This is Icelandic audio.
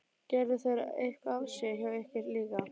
Gerðu þeir eitthvað af sér hjá ykkur líka?